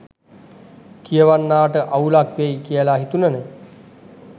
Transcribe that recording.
කියවන්නාට අවුලක් වෙයි කියල හිතුනෙ